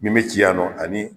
Min bi ci yan nɔ ani